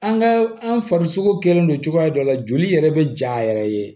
An ka an farisogo kɛlen don cogoya dɔ la joli yɛrɛ bɛ ja yɛrɛ ye